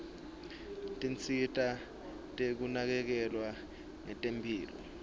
tinsita tekunakekelwa ngetemphilo